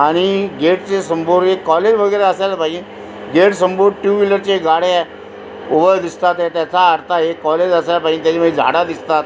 आणि गेटच्या समोर एक काॅलेज वगैरे असायला पाहिजे गेट समोर टुव्हिलर चे गाड्या उभ दिसतात त्याचा अर्थ आहे काॅलेज असायला पाहिजे त्याच्या मध्ये झाडा दिसतात.